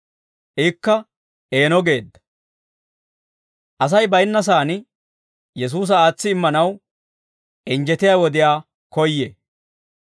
Ikka eeno geedda; Asay baynna saan Yesuusa aatsi immanaw injjetiyaa wodiyaa koyyee.